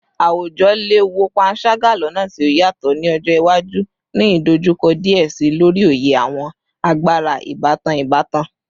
Awujọ le wo panṣaga lọna ti o yatọ ni ọjọ iwaju, ni idojukọ diẹ sii lori oye awọn agbara ibatan ibatan